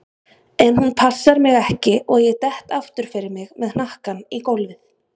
En hún passar mig ekki og ég dett aftur fyrir mig með hnakkann í gólfið.